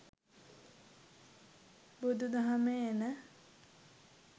බුදු දහමේ එන